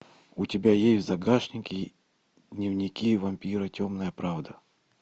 у тебя есть в загашнике дневники вампира темная правда